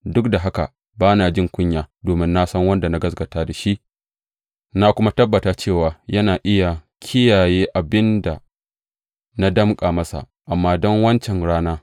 Duk da haka ba na jin kunya, domin na san wanda na gaskata da shi, na kuma tabbata cewa yana iya kiyaye abin da na danƙa masa amana don wancan rana.